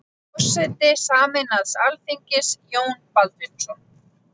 Forseti sameinaðs alþingis: Jón Baldvinsson.